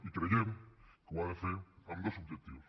i creiem que ho ha de fer amb dos objectius